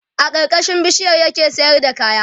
a karkashin bishiyar ya ke sayar da kaya